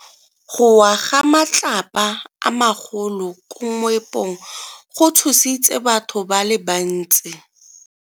Go wa ga matlapa a magolo ko moepong go tshositse batho ba le bantsi.